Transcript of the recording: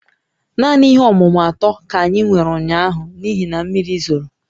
Naanị ihe ọmụmụ atọ ka anyị nwere ụnyaahụ n'ihi na mmiri zoro